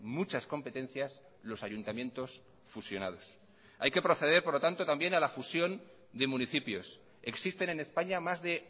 muchas competencias los ayuntamientos fusionados hay que proceder por lo tanto también a la fusión de municipios existen en españa más de